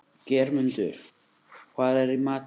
Geirmundur, hvað er í matinn?